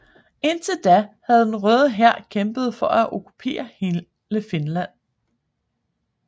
Indtil da havde den Røde Hær kæmpet for at okkupere hele Finland